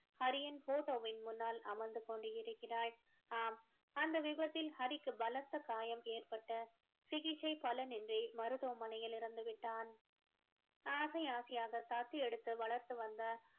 ஹரியின் photo வின் முன்னால் அமர்ந்து கொண்டு இருக்கிறாள் ஆம் அந்த விபத்தில் ஹரிக்கு பலத்த காயம் ஏற்பட்டு சிகிச்சை பலனின்றி மருத்துவமனையில் இறந்து விட்டான் ஆசை ஆசையாக தத்து எடுத்து வளர்த்து வந்த